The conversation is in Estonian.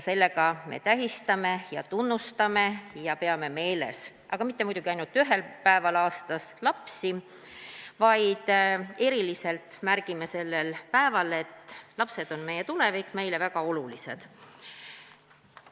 Sellega me tähistame seda ning tunnustame ja peame meeles lapsi, aga muidugi mitte ainult ühel päeval aastas, vaid eriliselt märgime sellel päeval, et lapsed on meie tulevik, meile väga olulised.